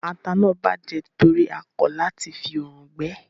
Ata náà bàjẹ́ nítorí a kọ lati fi òrùn gbẹ ẹ́